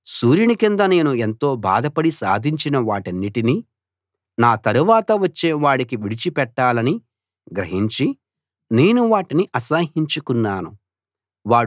సూర్యుని కింద నేను ఎంతో బాధపడి సాధించిన వాటన్నిటినీ నా తరవాత వచ్చేవాడికి విడిచిపెట్టాలని గ్రహించి నేను వాటిని అసహ్యించుకున్నాను